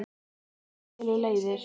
En svo skilur leiðir.